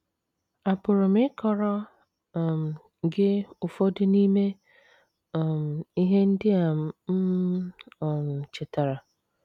Àpụrụ m ịkọrọ um gị ụfọdụ n’ime um ihe ndị a m um chetara?